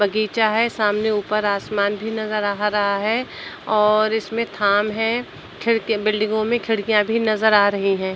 बगीचा है। सामने ऊपर आसमान भी नज़र आ रहा है और इसमें थाम है। खिड़कियां बिल्डिंगों में खिड़कियां भी नज़र आ रही हैं।